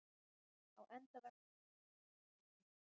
Á endaveggnum var opinn gluggi.